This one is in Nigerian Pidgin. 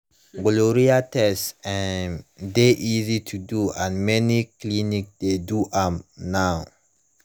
gonorrhea test um de easy to do and many clinics de do am now